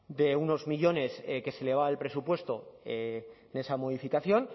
de unos millónes que se elevaba el presupuesto en esa modificación